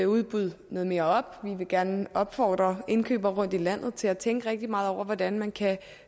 udbud noget mere op vi vil gerne opfordre indkøbere rundt i landet til at tænke rigtig meget over hvordan man kan